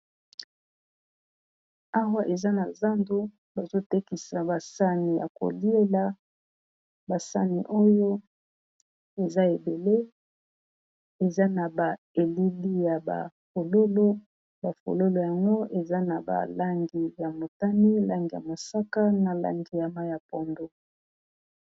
awa eza na zando bazotekisa basani ya koliela basani oyo eza ebele eza na ba elili ya balolobafololo yango eza na balangi ya motani langi ya mosaka na langi ya mai ya pondo